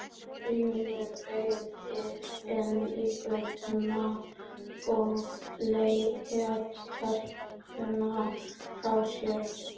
Grímur beygði inn í götuna og lét telpuna frá sér.